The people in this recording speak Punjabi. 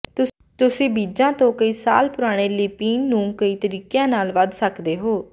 ਤੁਸੀਂ ਬੀਜਾਂ ਤੋਂ ਕਈ ਸਾਲ ਪੁਰਾਣੇ ਲਿਪਿਨ ਨੂੰ ਕਈ ਤਰੀਕਿਆਂ ਨਾਲ ਵਧ ਸਕਦੇ ਹੋ